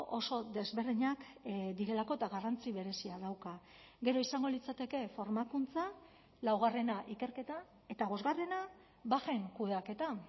oso desberdinak direlako eta garrantzi berezia dauka gero izango litzateke formakuntza laugarrena ikerketa eta bosgarrena bajen kudeaketa